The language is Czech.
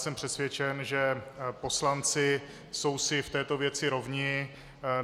Jsem přesvědčen, že poslanci jsou si v této věci rovni.